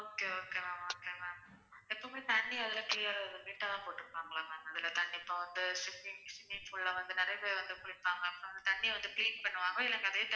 Okay okay ma'amokay ma'am எப்போமே தண்ணி வந்து clear ஆ neat ஆ தான் போற்றுபாங்களா ma'am இப்ப வந்து swimming pool ல வந்து நறைய பேர் வந்து குளிப்பாங்க தண்ணி வந்து clean பண்ணுவாங்களா இல்ல அதே தண்ணி.